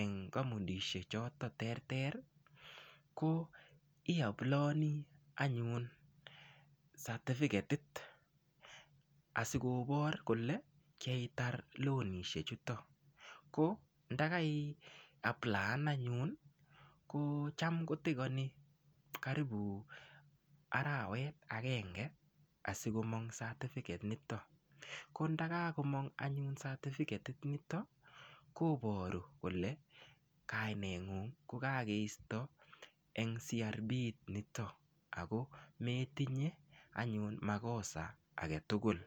eng' kampunishek chotok cheterter ko iaplayoni anyun satifiketit asikopor kole keitar lonisiek chutok ko ndakai aplayan anyun ko cham kotakani karibu arawet agenge asikomong' satifiket nitok ko ndakagomong' anyun satifiketit nitok koporu kole kaineng'ung ko kakeisto eng' CRB nitok ako metinye anyun makosa agetugul.